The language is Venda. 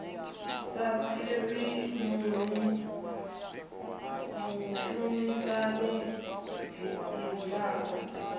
sa fhiri fumi vhushumisani dzikilabu